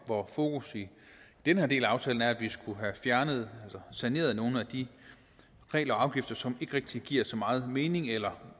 hvor fokus i den her del af aftalen er at vi skulle have fjernet eller saneret nogle af de regler og afgifter som ikke rigtig giver så meget mening eller